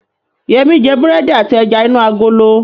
Yẹmí jẹ búrẹ́dì àti ẹja inú agolo